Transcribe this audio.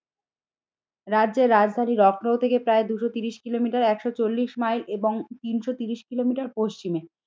রাজ্যের রাজধানীর লখনৌ থেকে প্রায় দুশো তিরিশ কিলোমিটার একশো চল্লিশ মাইল এবং তিনশো তিরিশ কিলোমিটার পশ্চিমে